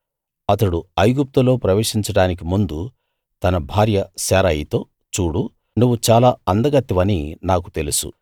అతడు ఐగుప్తులో ప్రవేశించడానికి ముందు తన భార్య శారయితో చూడు నువ్వు చాలా అందగత్తెవని నాకు తెలుసు